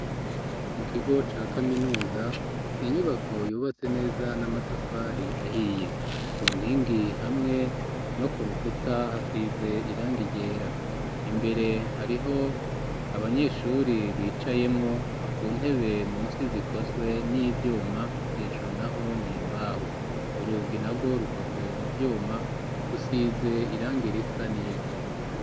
Mu kigo ca kaminuza, inyubako yubatse neza n'amatafari ahiye, ku nkingi hamwe no ku rukuta hasize irangi ryera, imbere hariho abanyeshuri bicayemwo, ku ntebe munsi zikozwe n'ivyuma hejuru naho ni imbaho; urugi narwo rukoze mu vyuma, rusize irangi risa n'ivu.